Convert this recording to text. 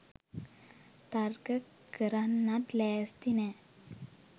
තර්ක කරන්නත් ලෑස්ති නෑ.